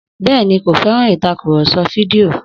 Bẹ́ẹ̀ni, kò fẹ́ràn ìtàkùrọ̀sọ fídíò